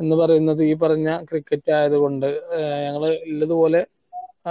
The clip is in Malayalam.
എന്ന് പറയുന്നത് ഈ പറഞ്ഞ cricket ആയത് കൊണ്ട് ഞങ്ങൾ ഇള്ളത് പോലെ